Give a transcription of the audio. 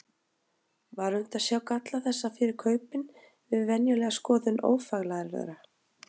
Var unnt að sjá galla þessa fyrir kaupin við venjulega skoðun ófaglærðra?